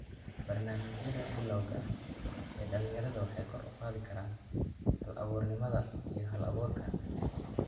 Barnaamijyada bilowga ah ee dhalinyarada waxay kor u qaadi karaan hal-abuurnimada iyo hal-abuurka.